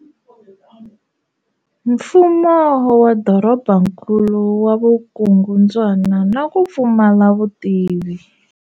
Mfumo wa dorobankulu wa vukungundzwana na ku pfumala vutivi.